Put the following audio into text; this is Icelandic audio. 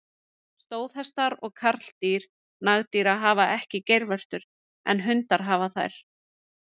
Stóðhestar og karldýr nagdýra hafa ekki geirvörtur, en hundar hafa þær.